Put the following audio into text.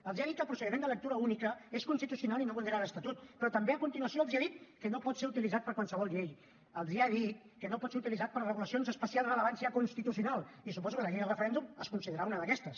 els han dit que el procediment de lectura única és constitucional i no vulnera l’estatut però també a continuació els ha dit que no pot ser utilitzat per a qualsevol llei els ha dit que no pot ser utilitzat per a regulacions d’especial rellevància constitucional i suposo que la llei del referèndum es deu considerar una d’aquestes